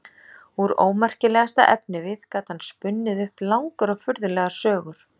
Úr ómerkilegasta efnivið gat hann spunnið upp langar og furðulegar sögur.